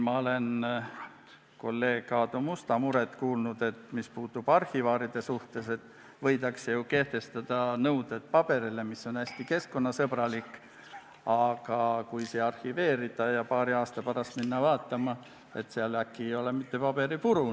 Ma olen kuulnud kolleeg Aadu Musta muret, et mis puudutab arhivaale, siis võidakse ju kehtestada nõuded, milline paber on hästi keskkonnasõbralik, aga võib juhtuda, et kui see arhiveerida ja paari aasta pärast vaatama minna, siis võib sellest alles olla vaid paberipuru.